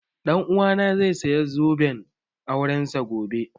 Ɗan uwana zai saya zoben aurensa gobe